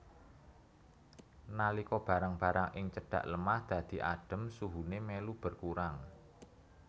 Nalika barang barang ing cedhak lemah dadhi adem suhune melu berkurang